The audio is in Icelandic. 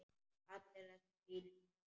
Allir þessir fínu naglar!